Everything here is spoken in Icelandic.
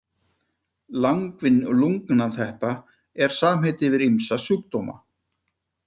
Langvinn lungnateppa er samheiti yfir ýmsa sjúkdóma.